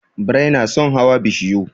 Birai na son hawa bishiyu.